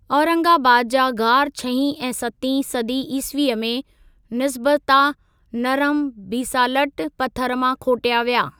औरंगाबाद जा ग़ार छहीं ऐं सतीं सदी ईसवीअ में निसबता नरम बीसालट पथरु मां खोटया विया।